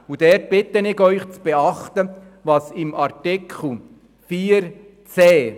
Ich bitte Sie zu beachten, was unter Artikel 4 Absatz 1